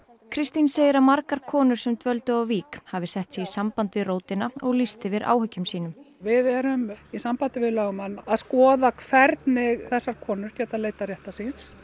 Kristín segir að margar konur sem dvöldu á Vík hafi sett sig í samband við rótina og lýst yfir áhyggjum sínum við erum í sambandi við lögmann að skoða hvaða hvernig þessar konur geta leitað réttar síns